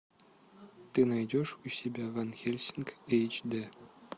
ты найдешь у себя ван хельсинг эйч д